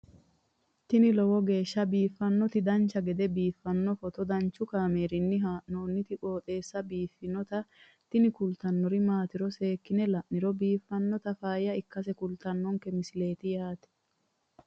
tini lowo geeshsha biiffannoti dancha gede biiffanno footo danchu kaameerinni haa'noonniti qooxeessa biiffannoti tini kultannori maatiro seekkine la'niro biiffannota faayya ikkase kultannoke misileeti yaate